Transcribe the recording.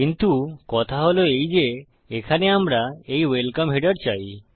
কিন্তু কথা হল এই যে এখানে আমরা এই ওয়েলকাম হেডার চাই